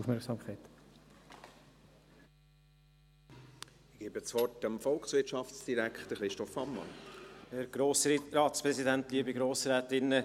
Ich erteile dem Volkswirtschaftsdirektor, Christoph Ammann, das Wort.